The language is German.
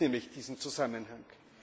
Es gibt nämlich diesen Zusammenhang.